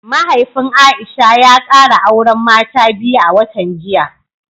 Mahaifin Aisha ya kara auren mata biyu a watan jiya